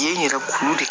Ye n yɛrɛ kulu de